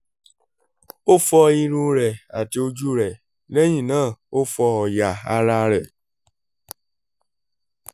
ó fọ irun rẹ̀ àti ojú rẹ̀ lẹ́yìn náà ó fọ ọ̀yà ara rẹ̀